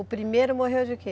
O primeiro morreu de quê?